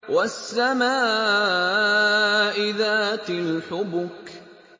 وَالسَّمَاءِ ذَاتِ الْحُبُكِ